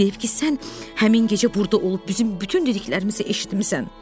Deyib ki, sən həmin gecə burda olub bizim bütün dediklərimizi eşitmisən.